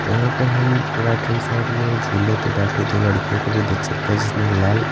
यहाँ पे हम राइट हैंड साइड में झूले पर बैठी दो लड़कियों को भी देख सकते हैं जिसने लेल--